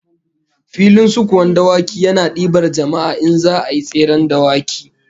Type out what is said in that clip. Filin sukuwan dawaki yana dibar jama'a in za'a yi tseren dawaki